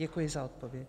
Děkuji za odpověď.